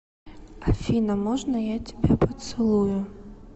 афина можно я тебя поцелую